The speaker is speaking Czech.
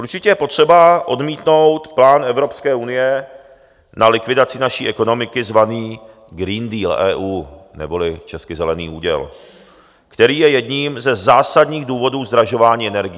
Určitě je potřeba odmítnout plán Evropské unie na likvidaci naší ekonomiky zvaný Green Deal EU, neboli česky zelený úděl, který je jedním ze zásadních důvodů zdražování energií.